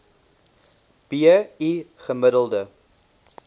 b i gemiddelde